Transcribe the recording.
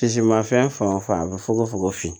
mais fan o fan a bɛ fukofogon fin